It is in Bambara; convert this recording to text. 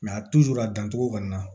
a dancogo kɔni na